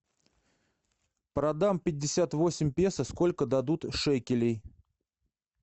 продам пятьдесят восемь песо сколько дадут шекелей